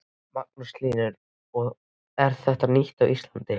Magnús Hlynur: Og er þetta nýtt á Íslandi?